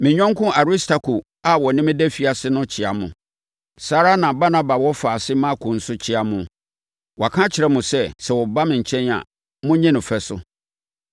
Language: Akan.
Me yɔnko Aristarko a ɔne me da afiase no kyea mo. Saa ara na Barnaba wɔfaase Marko nso kyea mo. Wɔaka akyerɛ mo sɛ, sɛ ɔba mo nkyɛn a, monnye no fɛ so.